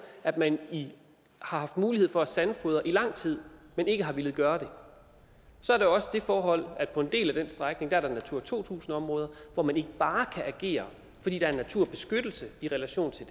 at man har haft mulighed for at sandfodre i lang tid men ikke har villet gøre det så er der også det forhold at der på en del af den strækning er natura to tusind områder hvor man ikke bare kan agere fordi der er naturbeskyttelse i relation til